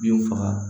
Bin faga